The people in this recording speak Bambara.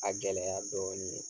A gɛlɛya dɔɔnin ye